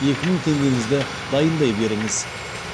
екі мың теңгеңізді дайындай беріңіз